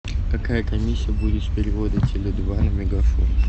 какая комиссия будет с перевода теле два на мегафон